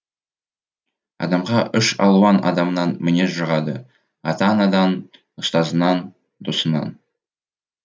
адамға үш алуан адамнан мінез жұғады ата анадан ұстазынан досынан